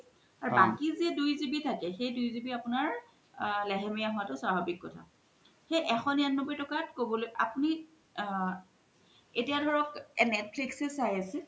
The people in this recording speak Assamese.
আৰু বাকি জে দুই GB থাকে সেই দুই GB আপুনাৰ লেহেমিআ হুআ তু স্ৱাভাবিক কথা সেই এশ নিৰান্নবৈ টকাত কব এতিয়া ধৰক netflix এ চাই আছিল